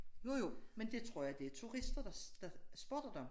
Jo jo men det tror jeg det turtister der der spotter dem